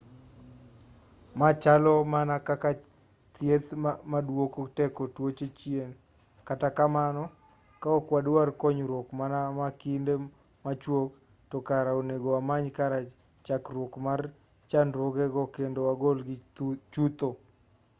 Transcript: ma chalo mana kaka thieth maduoko teko tuoche chien kata kamano ka ok wadwar konyruok mana ma kinde machuok to kare onego wamany kar chakruok mar chandruoge go kendo wagolgi chutho